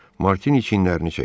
Martini çinlərini çəkdi.